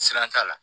Siran t'a la